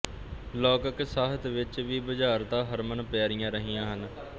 ਲੌਕਿਕ ਸਾਹਿਤ ਵਿੱਚ ਵੀ ਬੁਝਾਰਤਾਂ ਹਰਮਨ ਪਿਆਰੀਆਂ ਰਹੀਆਂ ਹਨ